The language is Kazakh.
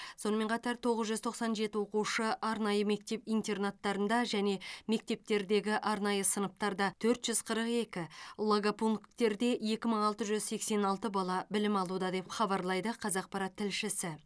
сонымен қатар тоғыз жүз тоқсан жеті оқушы арнайы мектеп интернаттарында және мектептердегі арнайы сыныптарда төрт жүз қырық екі логопункттерде екі мың алты жүз сексен алты бала білім алуда деп хабарлайды қазақпарат тілшісі